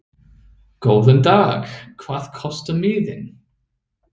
Góðan dag. Hvað kostar miðinn?